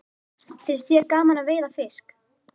Finnst þér gaman að veiða fisk?